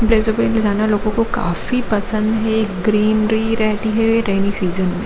इधर सब जाना लोगो को जाना काफी पसंद है ग्रीन - ग्रीन रहती है रैन सीजन में।